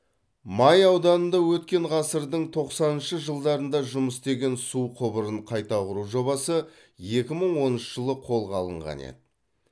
май ауданында өткен ғасырдың тоқсаныншы жылдарында жұмыс істеген су құбырын қайта құру жобасы екі мың оныншы жылы қолға алынған еді